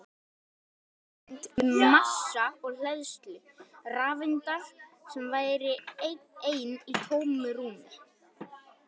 Við höfum enga hugmynd um massa og hleðslu rafeindar sem væri ein í tómu rúmi!